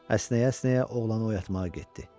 Əsnəyə-əsnəyə oğlanı oyatmağa getdi.